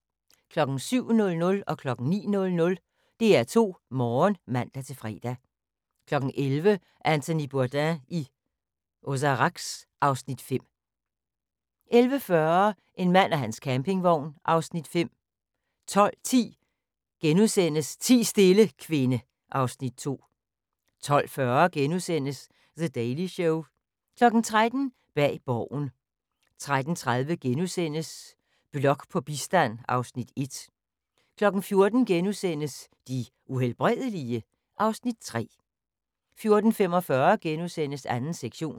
07:00: DR2 Morgen (man-fre) 09:00: DR2 Morgen (man-fre) 11:00: Anthony Bourdain i Ozarks (Afs. 5) 11:40: En mand og hans campingvogn (Afs. 5) 12:10: Ti stille, kvinde (Afs. 2)* 12:40: The Daily Show * 13:00: Bag borgen 13:30: Blok på bistand (Afs. 1)* 14:00: De Uhelbredelige? (Afs. 3)* 14:45: 2. sektion *